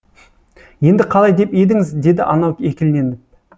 енді қалай деп едіңіз деді анау екіленіп